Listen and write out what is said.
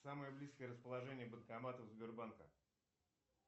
самое близкое расположение банкоматов сбербанка